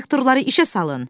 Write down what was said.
Traktorları işə salın!